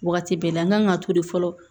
Wagati bɛɛ la an kan ka to de fɔlɔ